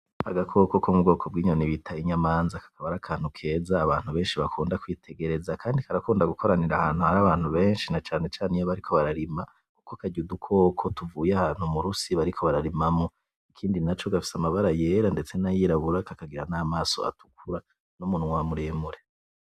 Agakoko Ko mubwoko bw'inyoni bita inyamanza kakaba ar'akantu keza benshi bakunda kwitegereza , kandi karakunda gukoranira ahantu Hari abantu benshi na cane cane iyo bariko bararima , kuko karya udukoko tuvuye ahantu murusi bariko bararimamwo. Ikindi naco gafise amabara yera ndetse n'ayirabura kakagira n'amaso atukura n'umunwa muremure.